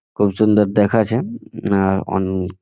খুব সুন্দর দেখাচ্ছে আ অন--